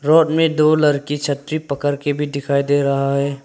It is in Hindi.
रोड में दो लरकी छतरी पकर के भी दिखाई दे रहा है।